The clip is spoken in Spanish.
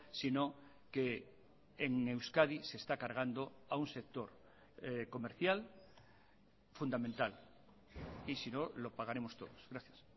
sino que en euskadi se está cargando a un sector comercial fundamental y sino lo pagaremos todos gracias